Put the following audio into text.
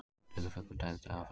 Dularfullur dauðdagi á flugvelli